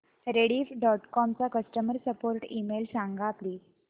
Rediff dot com चा customer support email सांग please